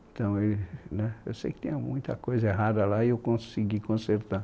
Então e, né. Eu sei que tinha muita coisa errada lá e eu consegui consertar.